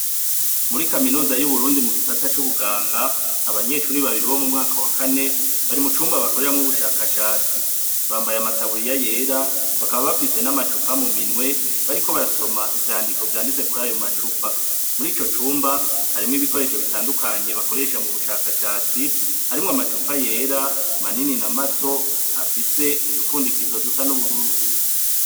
Muri kaminuza y'uburundi mu gisata c'ubuganga abanyeshuri babiri bo mu mwaka wa kane bari mu cumba bakoreramwo ubushakashatsi bambaye amataburiya yera bakaba bafise n'amacupa mu minwe bariko barasoma ivyandiko vyanditse kuri ayo macupa muri ico cumba harimwo ibikoresho bitandukanye bakoresha mu bushakashatsi harimwo amau pa yera manini na mato afise udupfundikirizo dusa n'ubururu.